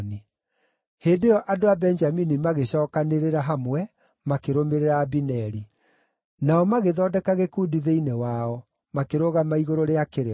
Hĩndĩ ĩyo andũ a Benjamini magĩcookanĩrĩra hamwe, makĩrũmĩrĩra Abineri. Nao magĩthondeka gĩkundi thĩinĩ wao, makĩrũgama igũrũ rĩa kĩrĩma.